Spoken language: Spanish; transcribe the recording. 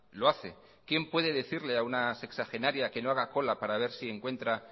lo hace quién puede decirle a una sexagenaria que no haga cola para ver si encuentra